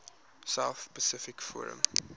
south pacific forum